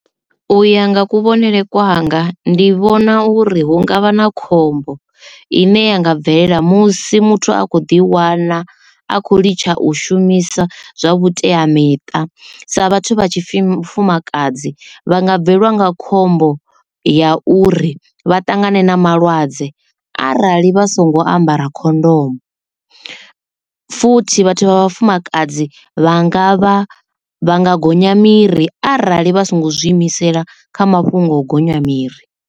U ya nga kuvhonele kwanga ndi vhona uri hu ngavha na khombo ine ya nga bvelela musi muthu a kho ḓi wana a khou litsha u shumisa zwa vhuteamiṱa sa vhathu vha tshifumakadzi vha nga bvelwa nga khombo ya uri vha ṱangane na malwadze arali vha songo ambara khondomo futhi vhathu vha vhafumakadzi vha nga vha vha nga gonya miri arali vha songo ḓi imisela kha mafhungo o gonya miri.